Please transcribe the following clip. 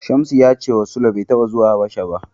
Shamsu ya cewa Sule bai taɓa zuwa Habasha ba.